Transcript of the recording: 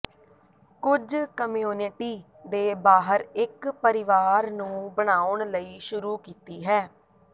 ਕੁਝ ਕਮਿਊਨਿਟੀ ਦੇ ਬਾਹਰ ਇੱਕ ਪਰਿਵਾਰ ਨੂੰ ਬਣਾਉਣ ਲਈ ਸ਼ੁਰੂ ਕੀਤੀ ਹੈ